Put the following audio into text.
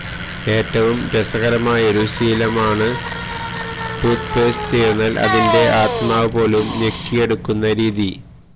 ഏറ്റവും രസകരമായൊരു ശീലമാണ് ടൂത് പേസ്റ്റ് തീർന്നാൽ അതിന്റെ ആത്മാവ് പോലും ഞെക്കി എടുക്കുന്ന രീതി